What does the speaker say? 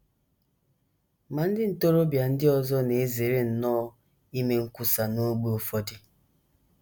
Ma ndị ntorobịa ndị ọzọ na - ezere nnọọ ime nkwusa n’ógbè ụfọdụ.